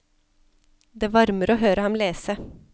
Det varmer å høre ham lese.